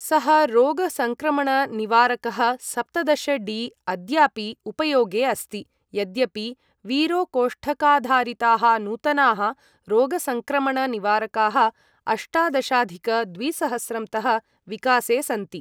सः रोगसङ्क्रमणनिवारकः, सप्तदश डी, अद्यापि उपयोगे अस्ति, यद्यपि वीरो कोष्ठकाधारिताः नूतनाः रोगसङ्क्रमणनिवारकाः अष्टादशाधिक द्विसहस्रं तः विकासे सन्ति।